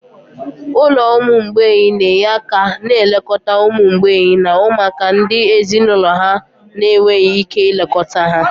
Ụlọ ụmụ mgbei na-enye aka na nlekọta ụmụ mgbei na ụmụaka ndị ezinụlọ ha na-enweghị ike ilekọta ha.